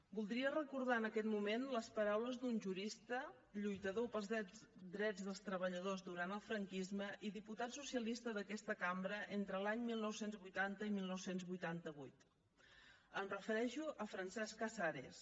voldria recordar en aquest moment les paraules d’un jurista lluitador pels drets dels treballadors durant el franquisme i diputat socialista d’aquesta cambra entre els anys dinou vuitanta i dinou vuitanta vuit em refereixo a francesc casares